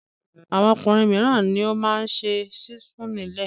Àwọn ọkùnrin mìíràn ni ó máa ṣe sísun nílé.